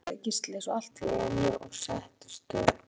Nú er þetta að koma, sagði Gísli svo allt í einu og settist upp.